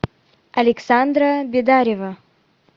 александра бедарева